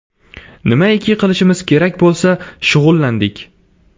Nimaiki qilishimiz kerak bo‘lsa, shug‘ullandik.